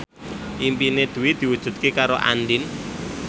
impine Dwi diwujudke karo Andien